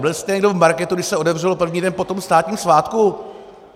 Byl jste někdo v marketu, když se otevřelo první den po tom státním svátku?